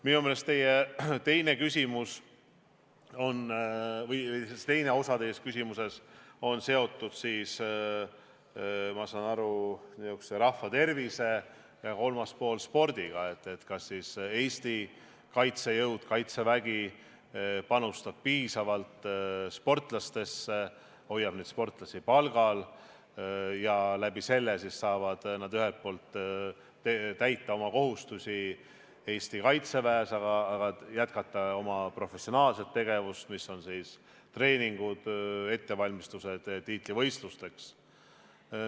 Minu meelest teine osa teie küsimusest on seotud rahva tervisega ja kolmas osa spordiga, et kas Eesti kaitsejõud või Kaitsevägi panustab piisavalt sportlastesse, hoiab sportlasi palgal ja võimaldab neil selle kaudu ühelt poolt täita oma kohustusi Eesti Kaitseväes, aga ühtlasi jätkata oma professionaalset tegevust, milleks on treeningud, ettevalmistused tiitlivõistlusteks.